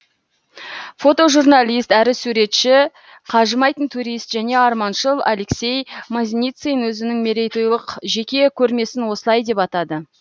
фотожурналист әрі суретші қажымайтын турист және арманшыл алексей мазницин өзінің мерейтойлық жеке көрмесін осылай деп атады